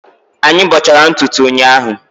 Anyị bọchara ntutu ụnyahụ